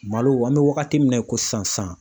Malo an bɛ wagati min na ko sisan